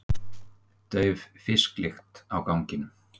Dauf fisklykt á ganginum.